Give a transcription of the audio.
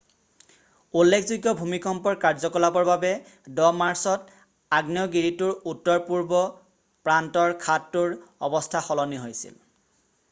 উল্লেখযোগ্য ভূমিকম্পৰ কাৰ্যকলাপৰ বাবে 10 মাৰ্চত আগ্নেয়গিৰিটোৰ উত্তৰপূৰ্ব প্ৰান্তৰ খাদটোৰ অৱস্থা সলনি হৈছিল